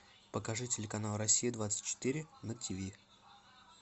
покажи телеканал россия двадцать четыре на тв